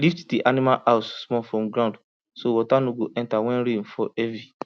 lift the animal house small from ground so water no go enter when rain fall heavy